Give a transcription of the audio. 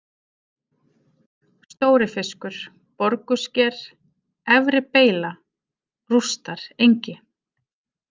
Stórifiskur, Borgusker, Efri-Beyla, Rústarengi